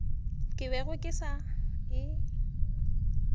ke bego ke sa e